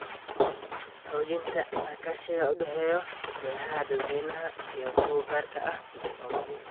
Xoojinta iskaashiga u dhexeeya waaxaha dadweynaha iyo kuwa gaarka ah waa muhiim.